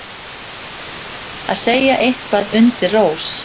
Að segja eitthvað undir rós